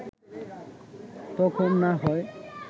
তখন না হয়